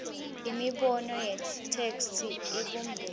imibono yetheksthi ibumbene